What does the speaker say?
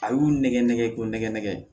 A y'u nɛgɛn nɛgɛn k'o nɛgɛ nɛgɛ